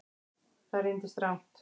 Það reyndist rangt